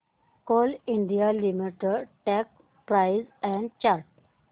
Coal India Limited stock price and chart